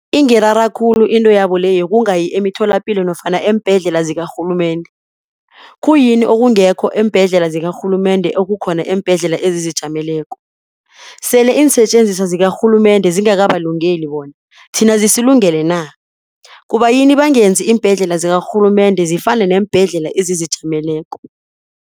Ingirara khulu into yabo le yokungayi emitholapilo nofana eembhedlela zikarhulumende. Khuyini okungekho eembhedlela zikarhulumende okukhona eembhedlela ezizijameleko. Sele iinsetjenziswa zikarhulumende zingakabalungeli bona thina zilungele na. Kubayini bangenzi iimbhedlela zikarhulumende zifane neembhedlela ezizijameleko.